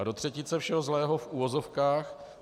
A do třetice všeho zlého, v uvozovkách.